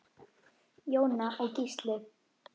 Jóna og Gísli.